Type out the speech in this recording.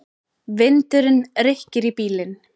Ég beið og beið.